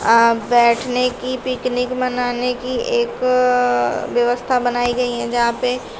अं बैठने की पिकनिक मनाने की एक व्यवस्था बनाई गई है जहां पे--